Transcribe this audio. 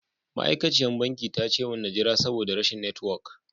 Ma'aikaciya banki ta ce mun na jira saboda rashin network.